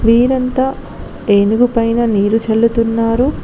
వీరంతా ఏనుగు పైన నీరు చల్లుతున్నారు.